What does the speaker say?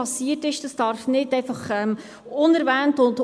Herr Gnägi, Ihre Redezeit läuft schon unter dem Namen Jakob Etter.